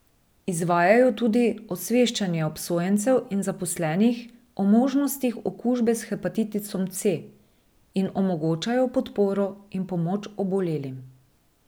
Izvajajo tudi osveščanje obsojencev in zaposlenih o možnostih okužbe s hepatitisom C in omogočajo podporo in pomoč obolelim.